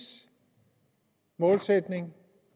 målsætning